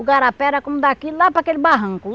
O igarapé era como daqui lá para aquele barranco.